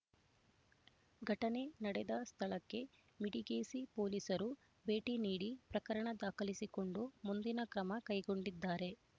ಘಟನೆ ನಡೆದ ಸ್ಥಳಕ್ಕೆ ಮಿಡಿಗೇಶಿ ಪೋಲಿಸರು ಭೇಟಿ ನೀಡಿ ಪ್ರಕರಣ ದಾಖಲಿಸಿಕೊಂಡು ಮುಂದಿನ ಕ್ರಮ ಕೈಗೊಂಡಿದ್ದಾರೆ